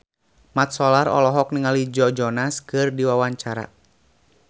Mat Solar olohok ningali Joe Jonas keur diwawancara